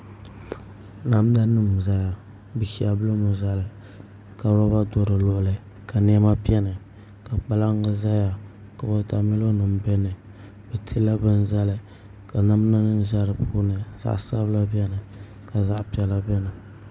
Namda nim n doya bi shɛbi limi zali ka roba do di luɣuli ka niɛma biɛni ka kpalaŋ ʒɛya wotamilo nim biɛni bi tila bini zali ka namda nim ʒɛ di puuni zaɣ sabila biɛni ka zaɣ piɛla biɛni